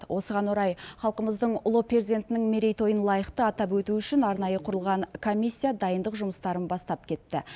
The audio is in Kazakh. осыған орай халқымыздың ұлы перзентінің мерейтойын лайықты атап өту үшін арнайы құрылған комиссия дайындық жұмыстарын бастап кетті